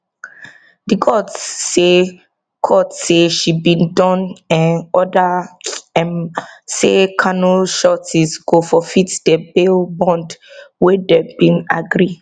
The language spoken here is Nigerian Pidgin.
di court say court say she bin don um order um say kanu sureties go forfeit di bail bond wey dem bin agree